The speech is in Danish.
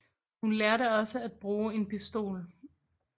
Hun lærte også at bruge en pistol